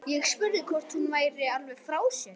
Ég spurði hvort hún væri alveg frá sér.